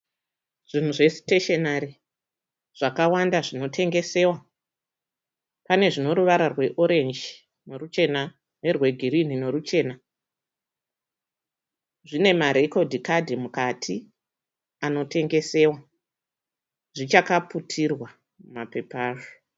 Zvinhu siteshenari zvakawanda zvinotengesewa. Pane zvine ruvara rweorenji neruchena nerwegirinhi neruchena. Zvine marekodhi kadhi mukati anotengesewa. Zvichakaputirwa mumapepa azvo.